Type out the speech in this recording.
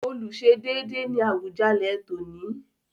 Olùsedéédé” ni Awùjalẹ̀ tòní.